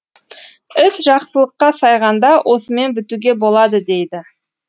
іс жақсылыққа сайғанда осымен бітуге болады дейді